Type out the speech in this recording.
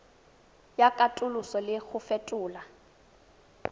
ya katoloso le go fetola